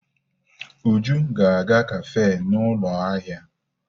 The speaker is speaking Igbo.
Uju ga-aga kafe na ụlọ ahịa.